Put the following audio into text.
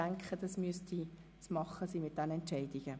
Das sollte machbar sein.